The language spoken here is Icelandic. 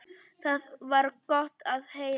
Það var gott að heyra.